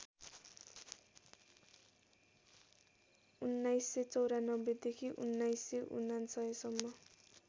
१९९४ देखि १९९९ सम्म